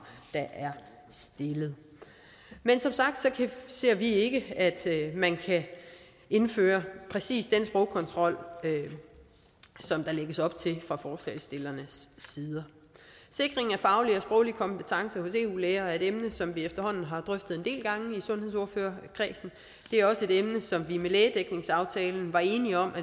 der er stillet men som sagt ser vi ikke at man kan indføre præcis den sprogkontrol som der lægges op til fra forslagsstillernes side sikring af faglige og sproglige kompetencer hos eu læger er et emne som vi efterhånden har drøftet en del gange i sundhedsordførerkredsen det er også et emne som vi med lægedækningsaftalen var enige om